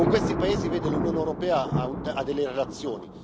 Con questi paesi, l'Unione europea ha delle relazioni